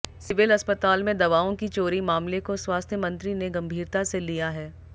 civil अस्पताल में दवाओं की चोरी मामले को स्वास्थ्य मंत्री ने गंभीरता से लिया है